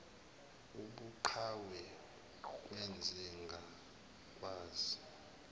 ubuqhawe kwenze ngakwazi